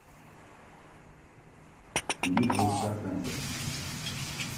битва экстрасенсов